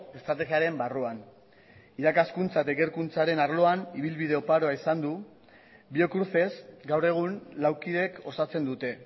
estrategiaren barruan irakaskuntza eta ikerkuntzaren arloan ibilbide oparoa izan du biocruces gaur egun lau kideek osatzen dute